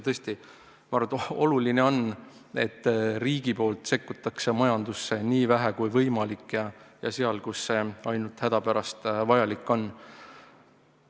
Tõesti, ma arvan, oluline on, et riik sekkub majandusse nii vähe kui võimalik ja vaid seal, kus see ainult hädapärast vajalik on.